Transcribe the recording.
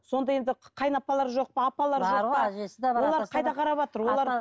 сонда енді қайын апалары жоқ па апалары бар ғой әжесі де бар олар қайда қараватыр